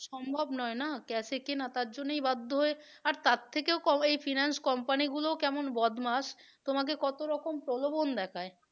সম্ভব নয় না cash এ কেনা তার জন্যই বাধ্য হয়ে আর তার থেকেও এই finance company গুলোও কেমন বদমাস তোমাকে কতরকম প্রলোভন দেখায়